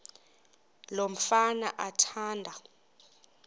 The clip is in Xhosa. lo mfana athanda